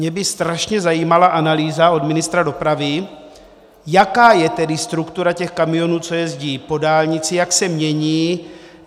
Mě by strašně zajímala analýza od ministra dopravy, jaká je tedy struktura těch kamionů, co jezdí po dálnici, jak se mění.